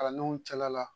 Kalandenw cɛla la